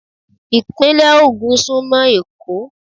Ìpínlè Ògùn súnmọ́ Èkó.